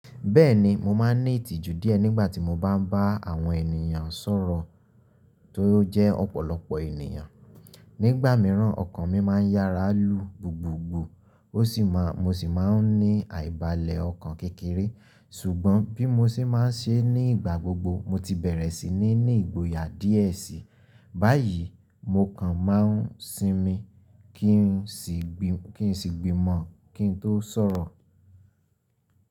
Bẹ́ẹ̀ni mo máa ní ìtìjú díẹ̀ nígbà tí mo bá ń bá àwọn ènìyàn sọ̀rọ̀ tó jẹ́ ọ̀pọ̀lọpọ̀ ènìyàn. Nígbà mìíràn ọkàn mi máa ń yára lu gbùgbùgbù, mo sì máa ń ní àìbalẹ̀ ọkàn kékeré. Ṣùgbọ́n bí mo ṣe máa ń ṣe nígbà gbogbo mo ti bẹ̀rẹ̀ sí ní ní ìgboyà díẹ̀ sí i, báyìí mo kan máa ń sinmi kí n sì gbìmọ̀ kí n tó sọ̀rọ̀.